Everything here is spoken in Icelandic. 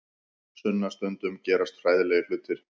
Sunna, stundum gerast hræðilegir hlutir.